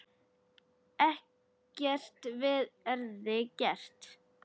Ekkert verði gert.